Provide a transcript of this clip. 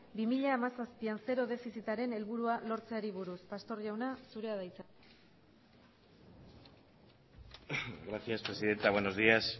bi mila hamazazpian zero defizitaren helburua lortzeari buruz pastor jauna zurea da hitza gracias presidenta buenos días